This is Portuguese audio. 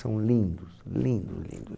São lindos, lindo, lindo.